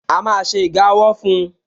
A má ṣe iga ọwọ́ fun